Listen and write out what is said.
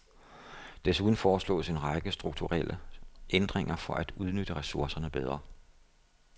Desuden foreslås en række strukturelle ændringer for at udnytte ressourcerne bedre.